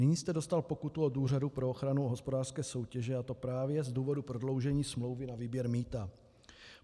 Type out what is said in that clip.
Nyní jste dostal pokutu od Úřadu pro ochranu hospodářské soutěže, a to právě z důvodu prodloužení smlouvy na výběr mýta.